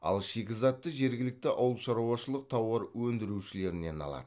ал шикізатты жергілікті ауылшаруашылық тауар өндірушілерінен алады